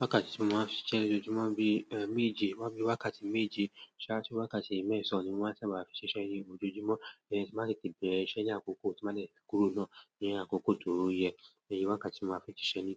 Wákàtí tí mo máa ń fi ṣe ṣíṣe ní ojojúmọ̀ bí méje, máa ń fi wákàtí méjr ṣáájú wákàtí mẹ́sàn-án ni mo ń sábà fi ṣiṣẹ́ ni ojojúmọ̀, tí a máa lè ti bẹ̀rẹ̀ iṣẹ́ ní àkókò tí wọ́n bá lè kúrò náà ní àkókò tó ró yẹn. Ẹ̀yin wákàtí mo máa fi ṣiṣẹ́ ní